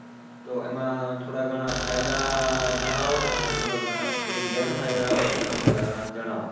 તો એમાં થોડા ઘણા ફાયદા જણાવો અને થોડા ઘણા જે ગેરફાયદા હોય એ પણ થોડા ઘણા જણાવો